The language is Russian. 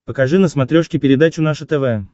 покажи на смотрешке передачу наше тв